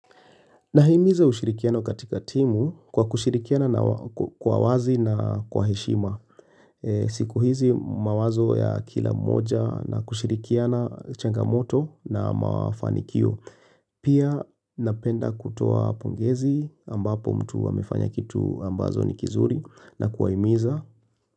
Nahimiza ushirikiano katika timu kwa kushirikiana kwa wazi na kwa heshima. Siku hizi mawazo ya kila moja na kushirikiana changamoto na mafanikio. Pia napenda kutoa pongezi ambapo mtu amefanya kitu ambacho ni kizuri na kuwahimiza.